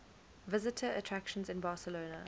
visitor attractions in barcelona